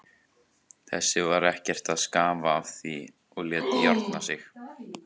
Þessi var ekkert að skafa af því og lét járna sig.